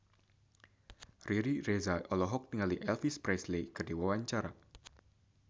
Riri Reza olohok ningali Elvis Presley keur diwawancara